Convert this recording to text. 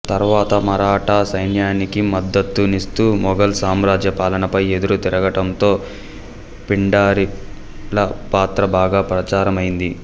తర్వాత మరాఠా సైన్యానికి మద్దతు నిస్తూ మొఘల్ సామ్రాజ్య పాలనపై ఎదురు తిరగటం తో పిండారీలపాత్ర బాగా ప్రచారమైంది